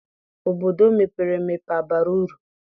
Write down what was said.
Obodo mepere emepe abara uru?